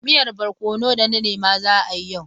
Miyar barkono da na nema za a yi yau.